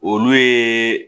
Olu ye